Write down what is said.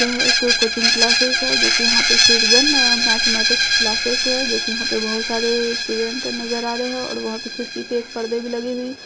यह एक coaching classes है जो की यहाँ पे श्रृजन मैथमेटिक्स क्लासेस है जो की यहाँ पे बहुत सारे स्टूडेंट नजर आ रहे है और वहां पे खिड़की में एक पर्दे भी लगे हुए --